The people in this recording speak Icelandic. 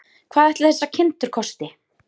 Hvað ætli þessar kindur kosti?